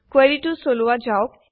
কুৱেৰিটো চলোৱা যাওক